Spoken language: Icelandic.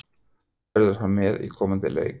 Verður hann með í komandi leik?